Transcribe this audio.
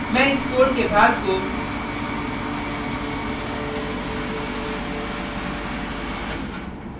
मैं इस code के भाग को